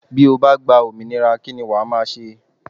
Bí o bá gba òmìnira kí ni wàá máa ṣe?